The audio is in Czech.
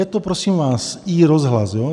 Je to prosím vás iRozhlas.